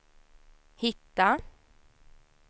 hitta